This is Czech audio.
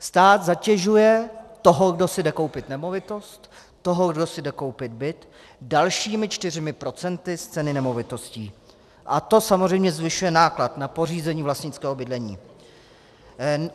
Stát zatěžuje toho, kdo si jde koupit nemovitost, toho, kdo si jde koupit byt, dalšími čtyřmi procenty z ceny nemovitostí a to samozřejmě zvyšuje náklad na pořízení vlastnického bydlení.